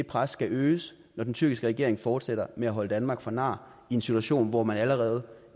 pres skal øges når den tyrkiske regering fortsætter med at holde danmark for nar i en situation hvor man allerede